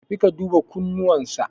Tafi ka duba kunnuwan sa.